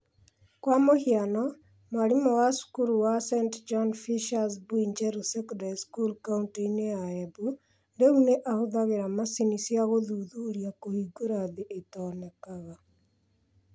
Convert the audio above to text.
Kwa mũhiano, mwarimũ wa cukuru wa St John Fisher's Mbuinjeru Secondary School kaunti-inĩ ya Embu rĩu nĩ ahũthagĩra macini cia gũthuthuria kũhingũra thĩ itonekaga.